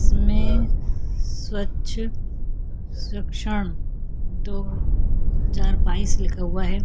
इसमें स्वच्छ स्वक्षण दो हज़ार बाइस लिखा हुआ हैं।